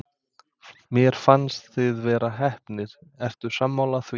Mér fannst þið vera heppnir, ertu sammála því?